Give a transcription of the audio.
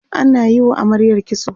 ana Yi wa amaryar kitso